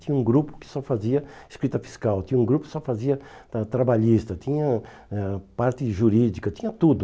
Tinha um grupo que só fazia escrita fiscal, tinha um grupo que só fazia tra trabalhista, tinha ãh parte jurídica, tinha tudo.